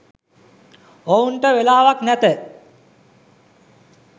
ඔවුන්ට වෙලාවක් නැත.